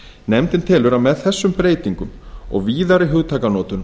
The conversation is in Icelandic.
nefndin telur að með þessum breytingum og víðari hugtakanotkun